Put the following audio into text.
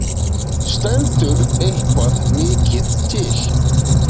Stendur eitthvað mikið til?